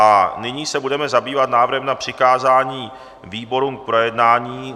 A nyní se budeme zabývat návrhem na přikázání výborům k projednání.